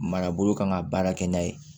Marabolo kan ka baara kɛ n'a ye